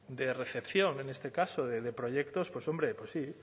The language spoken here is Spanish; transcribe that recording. de recepción en este caso de proyectos pues hombre pues sí